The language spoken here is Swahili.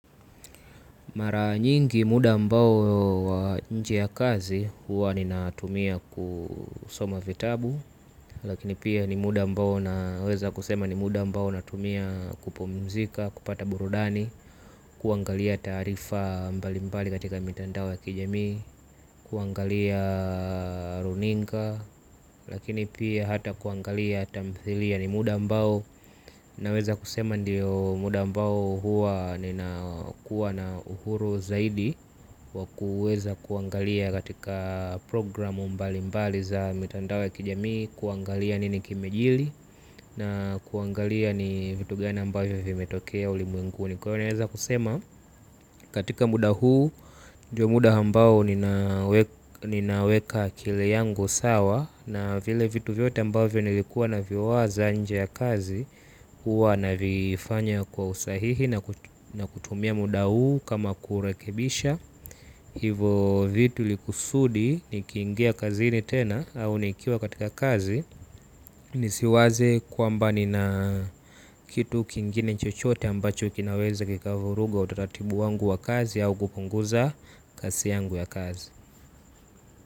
Mara nyingi muda ambao wa nje ya kazi huwa ninatumia kusoma vitabu. Lakini pia ni muda ambao naweza kusema ni muda ambao natumia kupumzika kupata burudani. Kuangalia taarifa mbali mbali katika mitandao ya kijamii. Kuangalia runinga. Lakini pia hata kuangalia tamthilia ni muda ambao naweza kusema ndio muda ambao huwa ninakuwa na uhuru zaidi wa kuweza kuangalia katika programu mbali mbali za mitandao ya kijamii kuangalia nini kimejiri na kuangalia ni vitu gani ambayo vimetokea ulimwenguni kwa ivo naweza kusema katika muda huu ndio muda ambao ninaweka akili yangu sawa na vile vitu vyote ambavyo nilikuwa naviwaza nje ya kazi huwa navifanya kwa usahihi na kutumia muda huu kama kurekebisha. Hivo vitu likusudi nikiingia kazini tena au nikiwa katika kazi. Nisiwaze kwamba nina kitu kingine chochote ambacho kinaweza kikavuruga utaratibu wangu wa kazi au kupunguza kasi yangu ya kazi.